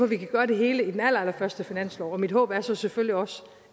vi kan gøre det hele i den allerallerførste finanslov og mit håb er så selvfølgelig også